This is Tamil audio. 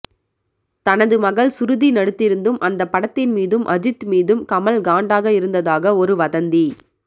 தனது மகள் ஸ்ருதி நடித்திருந்தும் அந்த படத்தின் மீதும் அஜித் மீதும் கமல் காண்டாக இருந்ததாக ஒரு வதந்தி